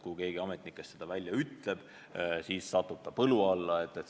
Kui keegi ametnikest selle välja ütleb, siis satub ta põlu alla.